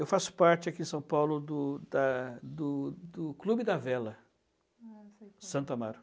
Eu faço parte aqui em São Paulo do da do do Clube da Vela, ah, sei qual é, de Santo Amaro.